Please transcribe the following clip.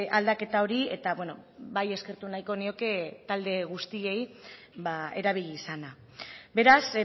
aldaketa hori eta bai eskertu nahiko nioke talde guztiei erabili izana beraz